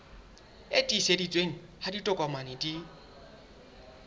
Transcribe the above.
e tiiseditsweng ha ditokomane di